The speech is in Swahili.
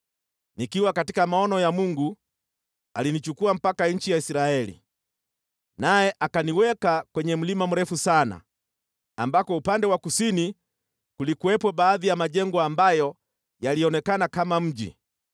Nikiwa katika maono ya Mungu alinichukua mpaka nchi ya Israeli, naye akaniweka kwenye mlima mrefu sana, ambako upande wa kusini kulikuwepo baadhi ya majengo ambayo yalionekana kama mji.